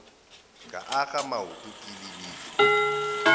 ka akga maoto ke lebile